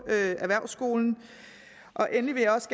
erhvervsskolen endelig vil jeg også